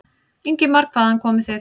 Ingimar: Hvaðan komið þið?